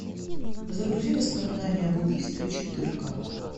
загрузи воспоминания об убийстве четырка